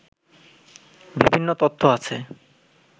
বিভিন্ন তত্ত্ব আছে